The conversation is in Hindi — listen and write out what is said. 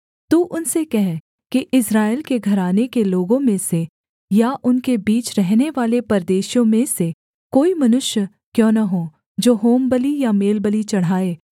तू उनसे कह कि इस्राएल के घराने के लोगों में से या उनके बीच रहनेवाले परदेशियों में से कोई मनुष्य क्यों न हो जो होमबलि या मेलबलि चढ़ाए